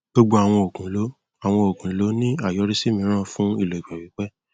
gbogbo àwọn òògùn ló àwọn òògùn ló ní àyọrísí mìíràn fún ìlò ìgbà pípẹ